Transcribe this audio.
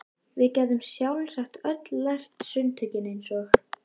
Við gætum sjálfsagt öll lært sundtökin eins og